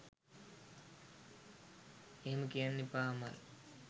එහෙම කියන්න එපා අමල්